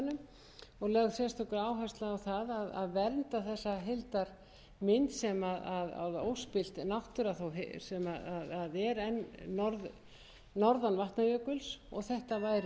áhersla á að vernda þessar heildarmynd sem er enn norðan vatnajökuls og þetta væri hluti af þeirri heildarmynd